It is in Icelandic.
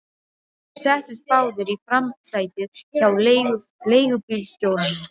Þeir settust báðir í framsætið hjá leigubílstjóranum.